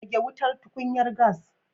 Rage wutar tukunyar gas